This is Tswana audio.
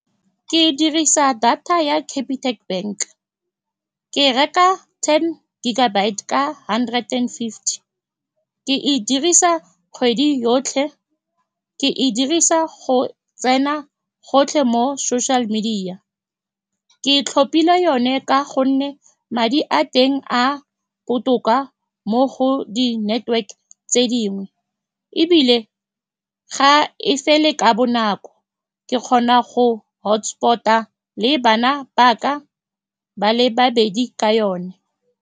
Ke dirisa data ya Capitec Bank, ke reka ten gigabyte ka hundred and fifty, ke e dirisa kgwedi yotlhe. Ke e dirisa go tsena gotlhe mo social media. Ke tlhopile yone ka gonne madi a teng a botoka mo go di-network-e tse dingwe, ebile ga e fele ka bonako. Ke kgona go hotspot-a le bana ba ka ba le babedi ka yone.